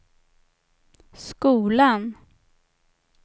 skolan